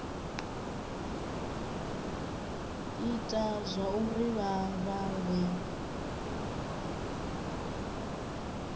ita zwauri vha vha vhe